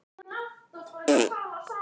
Hún staðnæmist við hólinn.